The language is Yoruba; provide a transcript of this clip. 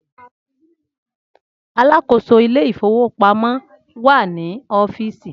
Alakoso ile-ifowopamọ wa ni ọfiisi.